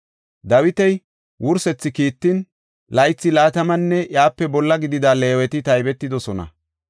Dawita wursetha kiitan, laythi laatamanne iyape bolla gidida Leeweti taybetidosona.